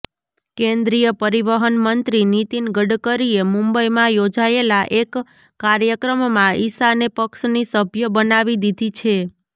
કેન્દ્રિય પરિવહન મંત્રી નીતિન ગડકરીએ મુંબઈમાં યોજાયેલા એક કાર્યક્રમમાં ઇશાને પક્ષની સભ્ય બનાવી દીધી છે